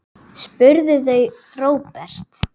spurðu þau Róbert.